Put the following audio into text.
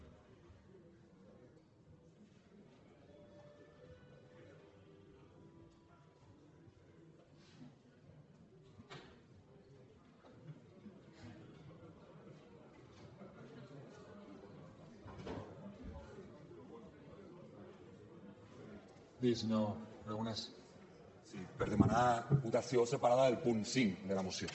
sí per demanar votació separada del punt cinc de la moció